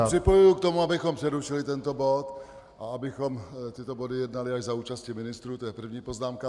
Že se připojuji k tomu, abychom přerušili tento bod a abychom tyto body jednali až za účasti ministrů, to je první poznámka.